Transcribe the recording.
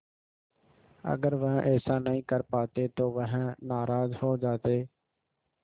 अगर वह ऐसा नहीं कर पाते तो वह नाराज़ हो जाते